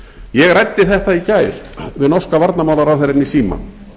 ég ræddi þetta í gær við norska varnarmálaráðherrann í síma